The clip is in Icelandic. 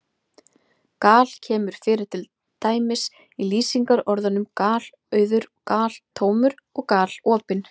Gal- kemur fyrir til dæmis í lýsingarorðunum galauður, galtómur og galopinn.